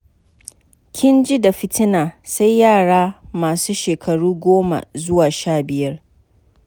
Ƙin ji da fitina sai yara masu shekaru goma zuwa sha biyar.